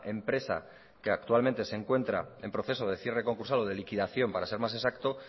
empresa que actualmente se encuentra en proceso de cierre concursal o de liquidación para ser más exacto